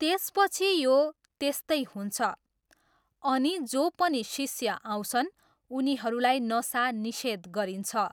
त्यसपछि यो त्यस्तै हुन्छ, अनि जो पनि शिष्य आउँछन् उनीहरूलाई नसा निषेध गरिन्छ।